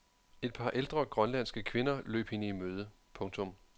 Et par ældre grønlandske kvinder løb hende i møde. punktum